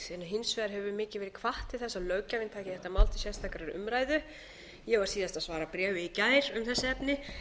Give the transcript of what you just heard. hefur mikið verið hvatt til þess að löggjafinn taki þetta mál til sérstakrar umræðu ég var síðast að svara bréfi í gær um þessi efni